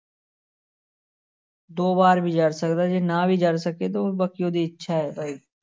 ਦੋ ਵਾਰ ਵੀ ਜ਼ਰ ਸਕਦਾ ਹੈ ਜੇ ਨਾ ਵੀ ਜ਼ਰ ਸਕੇ ਤੇ ਉਹ ਬਾਕੀ ਉਹਦੀ ਇੱਛਾ ਹੈ ਭਾਈ।